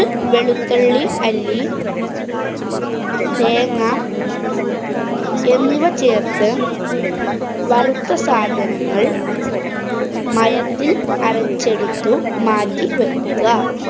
വെളുത്തുള്ളി അല്ലി, തേങ്ങ, എന്നിവ ചേര്‍ത്ത് വറുത്ത സാധനങ്ങള്‍ മയത്തില്‍ അരച്ചെടുത്തു മാറ്റി വക്കുക.